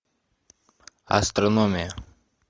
астрономия